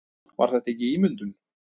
Var þetta ekki ímyndun?